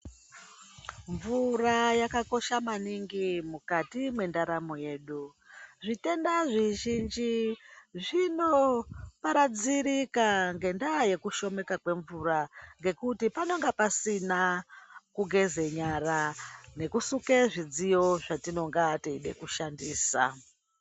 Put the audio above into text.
Mvura yakakosha maningi mukati mwendaramo yedu ,zvitenda zvizhinji zvinoparadzika ngendaa yekushomeka kwemvura ngekuti panonga pasina kugeze nyara nekusuke zvidziyo zvatinonga yeide kushandisa.